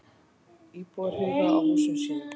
Íbúar hugi að húsum sínum